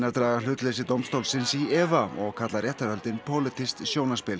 draga hlutleysi dómstólsins í efa og kalla réttarhöldin pólitískt sjónarspil